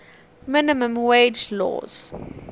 minimum wage laws